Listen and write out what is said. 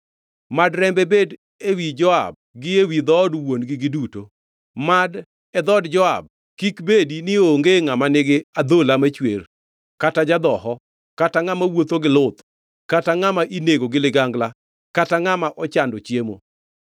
Mad rembe bed ewi Joab gi ewi dhood wuon-gi duto! Mad e dhood Joab kik bedi ni onge ngʼama nigi adhola machwer kata ja-dhoho kata ngʼama wuotho gi luth kata ngʼama inego gi ligangla kata ngʼama ochando chiemo.”